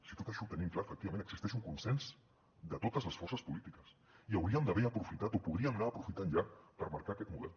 si tot això ho tenim clar efectivament existeix un consens de totes les forces polítiques i hauríem d’haver aprofitat o podríem anar aprofitant ja per marcar aquest model